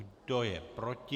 Kdo je proti?